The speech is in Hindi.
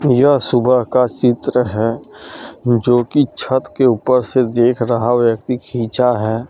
यह सुबह का चित्र है जो कि छत के उपर से देख रहा व्यक्ति खिंचा है।